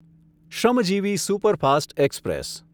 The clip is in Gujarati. Shramjeevi superfast express